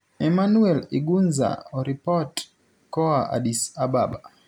Emmanuel Igunza oripot koa Addis Ababa.